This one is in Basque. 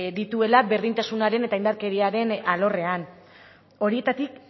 dituela berdintasunaren eta indarkeriaren alorrean horietatik